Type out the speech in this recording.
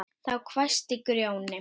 Þá hvæsti Grjóni